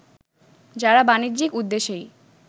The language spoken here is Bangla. যারা বাণিজ্যিক উদ্দেশ্যেই